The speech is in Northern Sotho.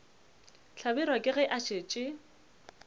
hlabirwa ke ge a šetše